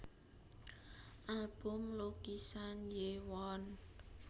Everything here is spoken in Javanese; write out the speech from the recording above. Album Lukisan Hyewon